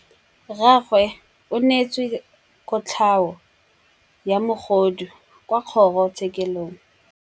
Rragwe o neetswe kotlhaô ya bogodu kwa kgoro tshêkêlông.